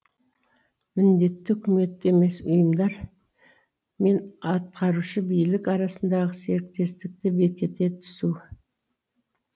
міндетті үкімет емес ұйымдар мен атқарушы билік арасындағы серіктестікті бекіте түсу